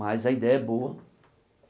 Mas a ideia é boa.